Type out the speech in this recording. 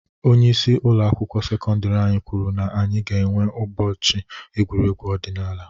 Onyeisi ụlọ akwụkwọ sekọndiri anyị kwuru na anyị ga enwe ụbọchị egwuregwu ọdinaala.